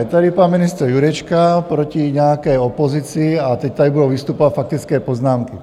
Je tady pan ministr Jurečka proti nějaké opozici a teď tady budou vystupovat faktické poznámky.